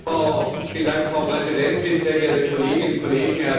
Frau Präsidentin, sehr geehrte Kolleginnen und Kollegen, Herr Kommissar!